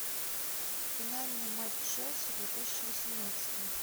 финальный матч челси две тысячи восемнадцатого